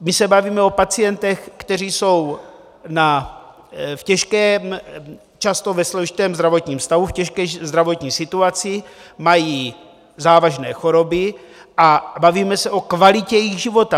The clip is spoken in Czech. My se bavíme o pacientech, kteří jsou v těžkém, často ve složitém zdravotním stavu, v těžké zdravotní situaci, mají závažné choroby, a bavíme se o kvalitě jejich života.